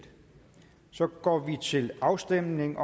så går vi til afstemning